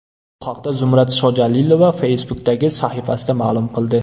Bu haqda Zumrad Shojalilova Facebook’dagi sahifasida ma’lum qildi .